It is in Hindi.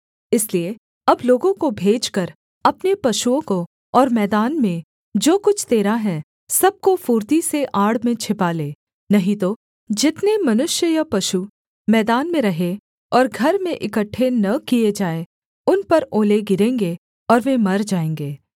इसलिए अब लोगों को भेजकर अपने पशुओं को और मैदान में जो कुछ तेरा है सब को फुर्ती से आड़ में छिपा ले नहीं तो जितने मनुष्य या पशु मैदान में रहें और घर में इकट्ठे न किए जाएँ उन पर ओले गिरेंगे और वे मर जाएँगे